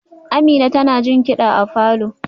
Amina tana jin kida a falor